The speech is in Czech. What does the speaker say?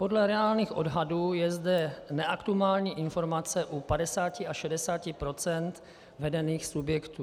Podle reálných odhadů je zde neaktuální informace u 50 až 60 % vedených subjektů.